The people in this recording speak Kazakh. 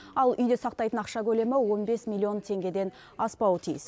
ал үйде сақтайтын ақша көлемі он бес миллион теңгеден аспауы тиіс